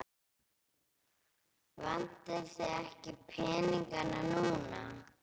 Vantar þig ekki peninga núna?